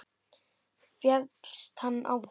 Féllst hann á það.